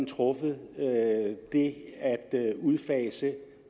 truffet er at udfase